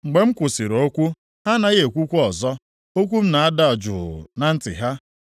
Mgbe m kwụsịrị okwu, ha anaghị ekwukwa ọzọ. Okwu m na-ada juu na ntị ha.